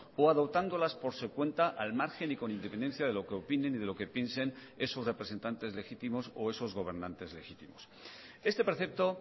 o adoptándolas por su cuenta al margen y con independencia de lo que opinen y de lo que piensen esos representantes legítimos o esos gobernantes legítimos este precepto